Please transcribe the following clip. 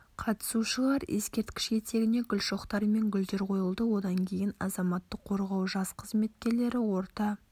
қатысушылар ескерткіш етегіне гүл шоқтары мен гүлдер қойылды одан кейін азаматтық қорғау жас қызметкерлері орта